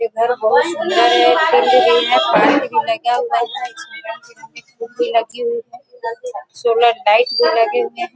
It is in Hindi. ये घर बहुत सूंदर है| है पाइप भी लगा है| इसमें रंग- बिरंगे फुल भी लगी हुई है| सोलर लाइट भी लगे हुए है|